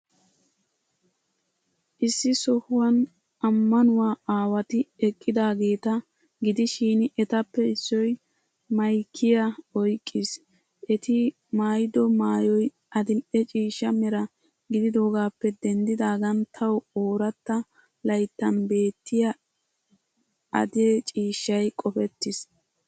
Issi sohuwan ammanuwaa aawati eqqidaageeta gidishin, etappe issoy maykiyaa oyqqiis. Eti maayido maayoy adil''e ciishsha mera gididoogaappe denddidaagan tawu ooratta layttan beettiya adey ciishshay qofettiis.